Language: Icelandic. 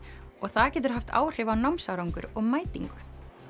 og það getur haft áhrif á námsárangur og mætingu